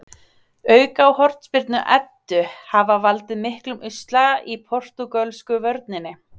Auka- og hornspyrnu Eddu hafa valdið miklum usla í portúgölsku vörninni.